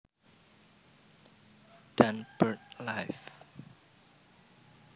dan BirdLife